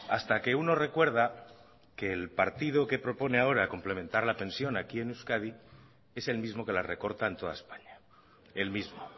hasta que uno recuerda que el partido que propone ahora complementar la pensión aquí en euskadi es el mismo que la recorta en toda españa el mismo